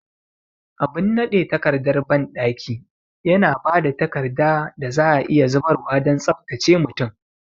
Abin nade takardar bandaki yana ba da takarda da za a iya zubarwa don tsabtace mutum.